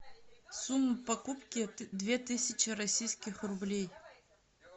сумма покупки две тысячи российских рублей